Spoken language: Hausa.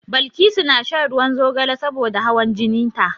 Balkisu na shan ruwan zogale saboda hawan jinin ta.